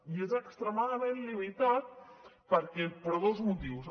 i és extremadament limitat per dos motius